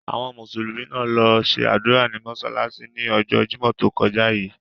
Àwọn Mùsùlùmí náà lo se ádùra ní mósálásí ni ọjọ́ Jimọ to kọja yii.